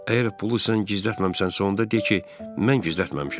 Əgər pulu sən gizlətməmisənsə, onda de ki, mən gizlətməmişəm.